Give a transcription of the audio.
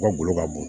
Ka golo ka bon